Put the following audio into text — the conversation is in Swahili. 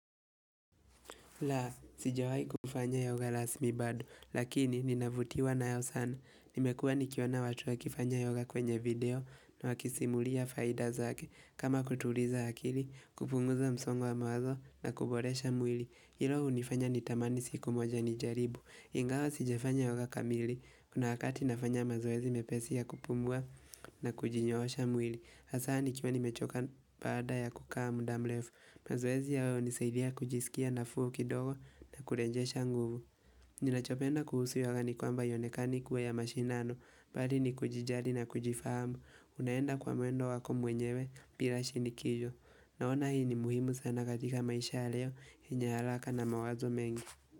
La, sijawahi kufanya yoga rasmi bado, lakini ninavutiwa nayo sana. Nimekuwa nikiona watu ya wakifanya yoga kwenye video na wakisimulia faida zake. Kama kutuliza akili, kupunguza msongo wa mawazo na kuboresha mwili. Hilo hunifanya nitamani siku moja nijaribu. Ingawa sijafanya yoga kamili. Kuna wakati nafanya mazoezi mepesi ya kupumua na kujinyoosha mwili. Hasa nikiwa nimechoka baada ya kukaa muda mrefu. Mazoezi hayo nisaidia kujisikia nafuu kidogo na kurejesha nguvu Ninachopenda kuhusu yoga ni kwamba haionekani kuwa ya mashindano Bali ni kujijali na kujifahamu Unaenda kwa mwendo wako mwenyewe bila shinikizo Naona hii ni muhimu sana katika maisha leo yenye haraka na mawazo mengi.